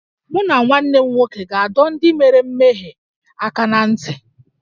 Mụ na nwanne m nwoke ga-adọ ndị mere mmehie aka ná ntị